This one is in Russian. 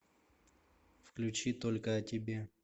включи только о тебе